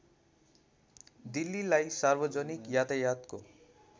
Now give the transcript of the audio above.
दिल्लीलाई सार्वजनिक यातायातको